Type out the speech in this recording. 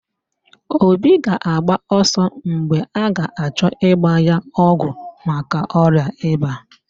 Obi ga-agba ọsọ mgbe a ga-achọ ịgba ya ọgwụ maka ọrịa ịba